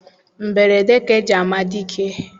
Mberede ka eji ama dike